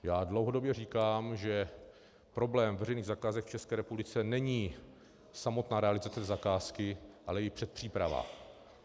Já dlouhodobě říkám, že problém veřejných zakázek v České republice není samotná realizace zakázky, ale i předpříprava.